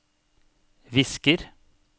visker